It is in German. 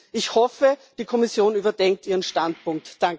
18. Ich hoffe, die Kommission überdenkt ihren Standpunkt.